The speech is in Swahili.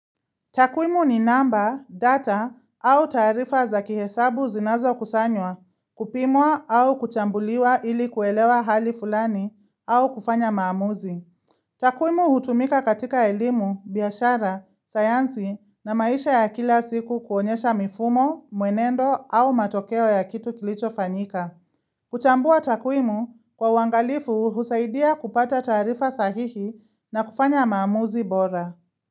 Takwimu ni namba, data au taarifa za kihesabu zinazokusanywa kupimwa au kuchambuliwa ili kuelewa hali fulani au kufanya maamuzi. Takwimu hutumika katika elimu, biashara, sayansi na maisha ya kila siku kuonyesha mifumo, mwenendo au matokeo ya kitu kilichofanyika. Kuchambua takwimu kwa uangalifu husaidia kupata taarifa sahihi na kufanya maamuzi bora.